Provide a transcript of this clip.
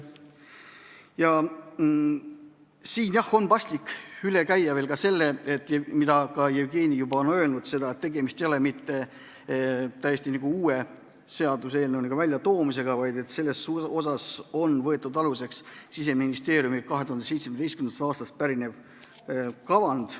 Ja siinkohal on paslik üle käia veel see, mida Jevgeni juba ütles, et tegemist ei ole mitte täiesti uue seaduseelnõu väljatöötamisega, vaid aluseks on võetud Siseministeeriumi 2017. aastast pärinev kavand.